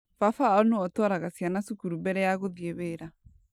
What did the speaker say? Baba wao niwe ũtwaraga ciana cukuru mbere ya gũthiĩ wĩra.